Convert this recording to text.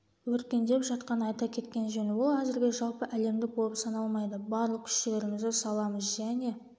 өркендеп жатқанын айта кеткен жөн ол әзірге жалпы әлемдік болып саналмайды барлық күш-жігерімізді саламыз және